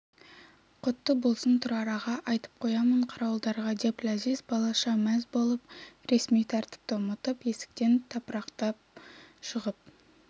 құтты болсын тұрар аға айтып қоямын қарауылдарға деп ләзиз балаша мәз болып ресми тәртіпті ұмытып есіктен тапырақтап шығып